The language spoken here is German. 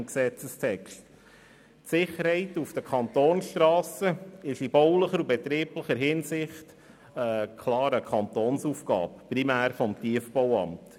Die Sicherheit auf den Kantonsstrassen ist in baulicher und betrieblicher Hinsicht klar eine Aufgabe des Kantons, primär des Tiefbauamts.